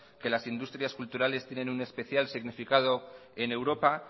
que las industrias culturales tienen un especial significado en europa